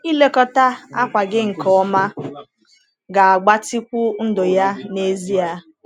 Ilekọta akwa gị nke ọma ga-agbatịkwu ndụ ya n’ezie.